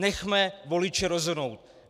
Nechme voliče rozhodnout.